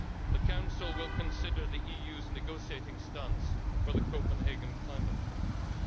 The Council will consider the EU's negotiating stance for the Copenhagen climate conference.